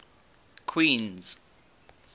queens